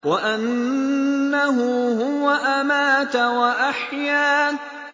وَأَنَّهُ هُوَ أَمَاتَ وَأَحْيَا